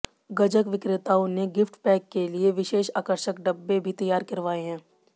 गजक विक्रेताओं ने gift pack के लिए विशेष आकर्षक डिब्बे भी तैयार करवाए हैं